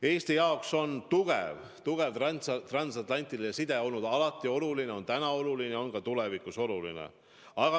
Eesti jaoks on tugev transatlantiline side olnud alati oluline, see on täna oluline ja on ka tulevikus oluline.